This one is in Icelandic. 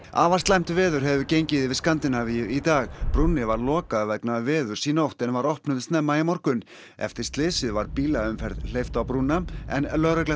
afar slæmt veður hefur gengið yfir Skandinavíu í dag brúnni var lokað vegna veðurs í nótt en var opnuð snemma í morgun eftir slysið var bílaumferð hleypt á brúna en lögregla